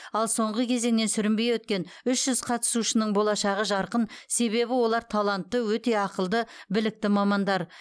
ал соңғы кезеңнен сүрінбей өткен үш жүз қатысушының болашағы жарқын себебі олар талантты өте ақылды білікті мамандар